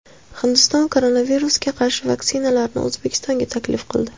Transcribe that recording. Hindiston koronavirusga qarshi vaksinalarini O‘zbekistonga taklif qildi.